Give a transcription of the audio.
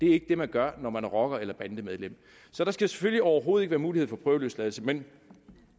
er ikke det man gør når man er rocker eller bandemedlem så der skal selvfølgelig overhovedet ikke være mulighed for prøveløsladelse men